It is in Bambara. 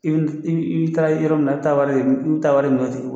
i bi taara yɔrɔ min na taa taa wari